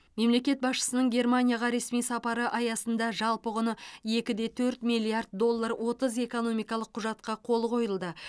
мемлекет басшысының германияға ресми сапары аясында жалпы құны екі де төрт миллиард доллар отыз экономикалық құжатқа қол қойылды